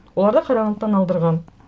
оларды қарағандыдан алдырған